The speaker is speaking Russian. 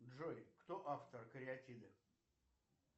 джой кто автор кариатиды